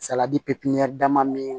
pipiniyɛri dama min